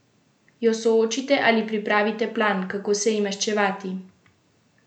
Jo soočite ali pripravite plan, kako se ji maščevati?